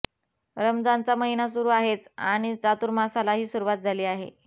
रमजानचा महिना सुरू आहेच आणि चातुर्मासालाही सुरुवात झाली आहे